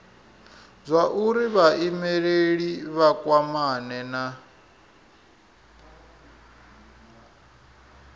zwauri vhaimeleli vha kwamane na